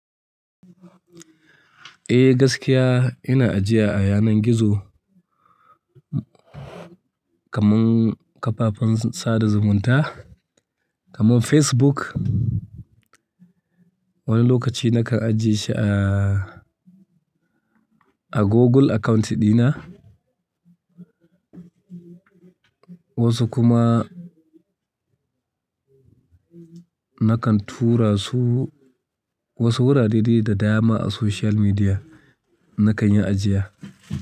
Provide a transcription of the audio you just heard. Eh gaskiya ina ajiya a yanan gizo, kamarn kafafen sada zumunta kaman Facebook. Wani lokaci nakan ajiye shi a, a Google account dina. Wasu kuma nakan tura su wasu wurare dai da dama a social media, nakan yi ajiya.